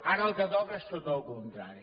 ara el que toca és tot el contrari